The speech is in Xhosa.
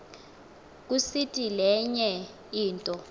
kusiti lenye into